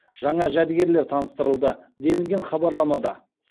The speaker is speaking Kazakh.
жаңа жәдігерлер таныстырылды делінген хабарламада